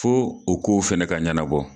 Fo o kow fɛnɛ ka ɲɛnabɔ